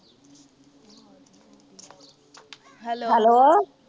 hello